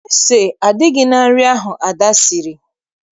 Ese adịghị na nri ahụ Ada siri